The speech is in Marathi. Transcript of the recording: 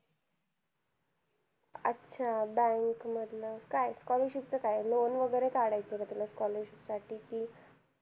अच्छा! bank मधलं. काय scholarship चं काय loan वगैरे काढायचंय का तुला scholarship साठी? कि